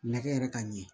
Nɛgɛ yɛrɛ ka ɲɛ